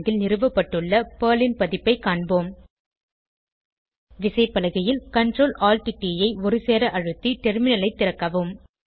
ல் நிறுவப்பட்டுள்ள பெர்ல் ன் பதிப்பை காண்போம் விசைப்பலகையில் ctrl alt ட் ஐ ஒருசேர அழுத்தி டெர்மினலைத் திறக்கவும்